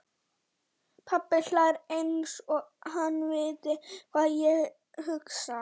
Pabbi hlær einsog hann viti hvað ég hugsa.